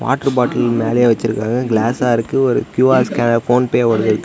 Water bottle மேலயே வெச்சுருக்காங்க க்ளாஸா இருக்கு ஒரு க்யூ_ஆர் ஸ்கேனர் போன்பே ஓடதுருக்கு.